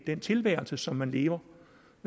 den tilværelse som man lever